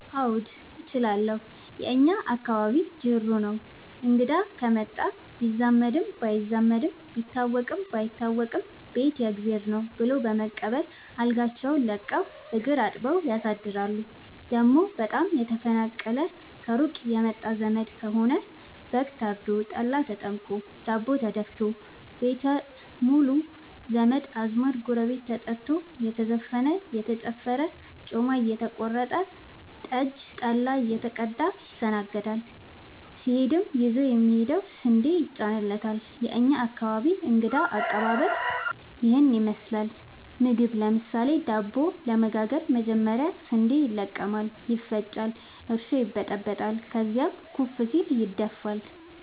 አዎድ እችላለሁ የእኛ አካባቢ ጅሩ ነው። እንግዳ ከመጣ ቢዛመድም ባይዛመድም ቢታወቅም ባይታወቅም ቤት የእግዜር ነው። ብሎ በመቀበል አልጋቸውን ለቀው እግር አጥበው ያሳድራሉ። ደሞ በጣም የተናፈቀና ከሩቅ የመጣ ዘመድ ከሆነ በግ ታርዶ፤ ጠላ ተጠምቆ፤ ዳቦ ተደፋቶ፤ ቤት ሙሉ ዘመድ አዝማድ ጎረቤት ተጠርቶ እየተዘፈነ እየተጨፈረ ጮማ እየተቆረጠ ጠጅ ጠላ እየተቀዳ ይስተናገዳል። ሲሄድም ይዞ የሚሄደው ስንዴ ይጫንለታል። የእኛ አካባቢ እንግዳ ከቀባበል ይህን ይመስላል። ምግብ ለምሳሌ:- ዳቦ ለመጋገር መጀመሪያ ስንዴ ይለቀማል ይፈጫል እርሾ ይበጠበጣል ከዚያም ኩፍ ሲል ይደፋል።